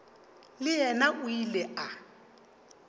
le yena o ile a